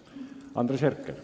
Andres Herkel.